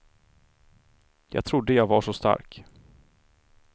Jag trodde jag var så stark.